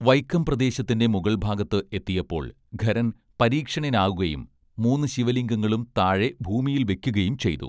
വൈക്കം പ്രദേശത്തിന്റെ മുകൾഭാഗത്ത് എത്തിയപ്പോൾ ഖരൻ പരിക്ഷീണനാകുകയും മൂന്ന് ശിവലിംഗങ്ങളും താഴെ ഭൂമിയിൽ വെക്കുകയും ചെയ്തു